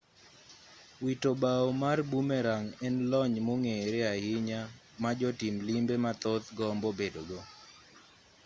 wito bao mar bumerang' en lony mong'ere ahinya ma jotim limbe mathoth gombo bedogo